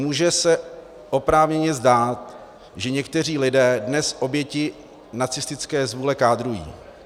Může se oprávněně zdát, že někteří lidé dnes oběti nacistické zvůle kádrují.